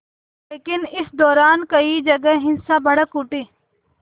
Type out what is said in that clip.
लेकिन इस दौरान कई जगह हिंसा भड़क उठी